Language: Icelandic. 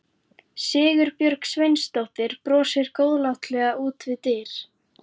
Sigurbjörg Sveinsdóttir brosir góðlátlega út við dyr.